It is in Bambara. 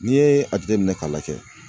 N'i ye a jateminɛ ka lajɛ